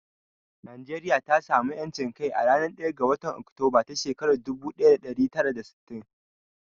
Najeriya ta samu ƴancin kai a ranar ɗaya ga watan Oktober ta shekarar dubu ɗaya da ɗari tara da sittin.